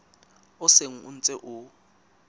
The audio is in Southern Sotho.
o seng o ntse o